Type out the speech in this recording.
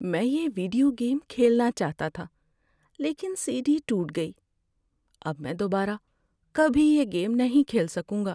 میں یہ video game کھیلنا چاہتا تھا لیکن سی ڈی ٹوٹ گئی۔ اب میں دوبارہ کبھی یہ گیم نہیں کھیل سکوں گا۔